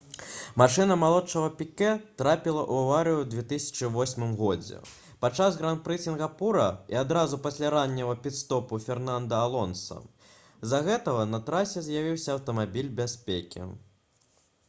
машына малодшага піке трапіла ў аварыю ў 2008 г падчас гран-пры сінгапура і адразу пасля ранняга піт-стопу фернанда алонса з-за гэтага на трасе з'явіўся аўтамабіль бяспекі